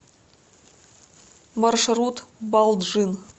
маршрут балджын